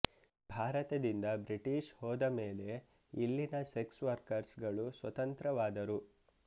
ಭಾರತದಿಂದ ಬ್ರಿಟಿಷ್ ಹೋದಮೇಲೆ ಇಲ್ಲಿನ ಸೆಕ್ಸ್ ವರ್ಕರ್ಸ್ ಗಳು ಸ್ವತಂತ್ರವಾದರು